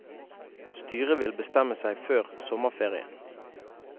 Styret vil bestemme seg før sommerferien.